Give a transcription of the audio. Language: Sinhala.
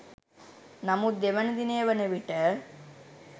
නමුත් දෙවන දිනය වන විට